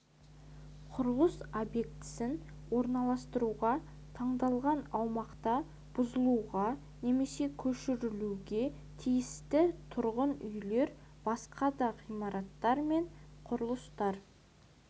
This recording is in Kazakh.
құрылыс объектісін орналастыруға таңдалған аумақта бұзылуға немесе көшірілуге тиісті тұрғын үйлер басқа да ғимараттар мен құрылыстар